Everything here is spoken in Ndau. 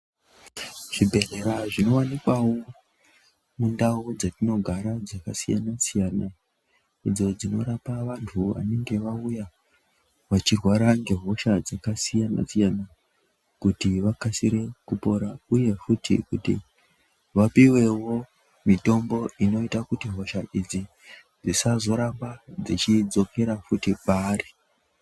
Zvibhedhleya zvinowanikwawo mundau dzetinogara dzakasiyana siyana idzo dzinoramba vantu veiningirwa uye vechirwara ngehosha dzingasiyana siyana kuti vakasire kupora uye kuti vapiwewo mitombo inoita kuti hosha idzi dzisazoramba dzeidzokera futi paari.